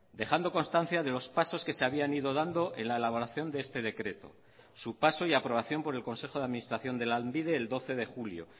dejando constancia de los pasos que se habían ido dando en la elaboración de este decreto su paso y aprobación por el consejo de administración de lanbide el doce de julio